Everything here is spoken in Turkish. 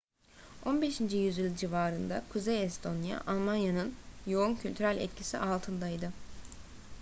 15. yüzyıl civarında kuzey estonya almanya'nın yoğun kültürel etkisi altındaydı